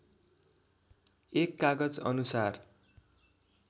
१ कागज अनुसार